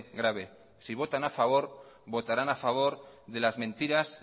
grave si votan a favor votarán a favor de las mentiras